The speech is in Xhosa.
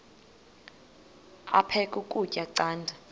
aphek ukutya canda